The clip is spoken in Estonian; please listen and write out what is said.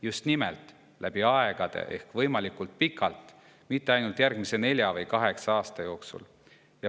Just nimelt läbi aegade ehk võimalikult pikalt, mitte ainult järgmise nelja või kaheksa aasta jooksul.